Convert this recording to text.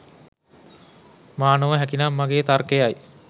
මා නොව හැකිනම් මගේ තර්කයයි.